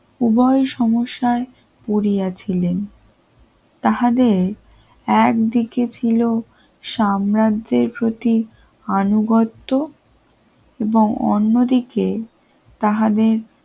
উভয় সমস্যার পরীয়াছিলেন তাহাদের একদিকে ছিল সাম্রাজ্যের প্রতি আনুগত্য এবং অন্যদিকে তাহাদের